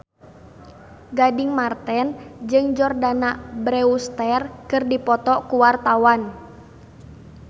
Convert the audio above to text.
Gading Marten jeung Jordana Brewster keur dipoto ku wartawan